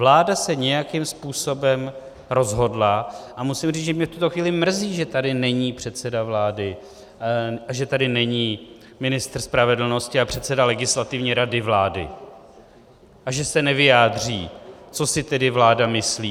Vláda se nějakým způsobem rozhodla - a musím říct, že mě v tuto chvíli mrzí, že tady není předseda vlády a že tady není ministr spravedlnosti a předseda Legislativní rady vlády a že se nevyjádří, co si tedy vláda myslí.